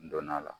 N donn'a la